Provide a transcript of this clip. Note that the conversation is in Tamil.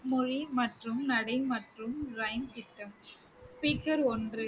மொழி மற்றும் நடை மற்றும் திட்டம் speaker ஒன்று